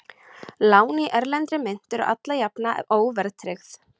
Lán í erlendri mynt eru alla jafna óverðtryggð.